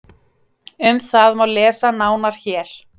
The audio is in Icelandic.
Um það má lesa nánar hér.